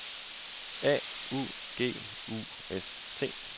A U G U S T